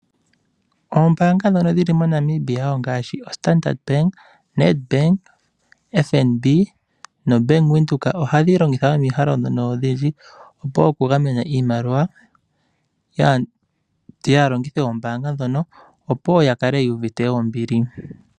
Ombaanga ndhono dhi li moNamibia ngaashi oStandard bank, ONedbank, Bank Windhoek, FNB ohadhi longitha omikalo odhindji okugamena iimaliwa yaalongithi yombaanga ndjono, opo ya kale yuuvite ombili.